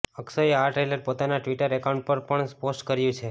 અક્ષયે આ ટ્રેલર પોતાના Twitter account પર પણ પોસ્ટ કર્યુ છે